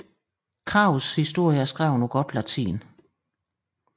Krags historie er skrevet på godt latin